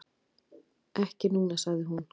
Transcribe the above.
"""Ekki núna, sagði hún."""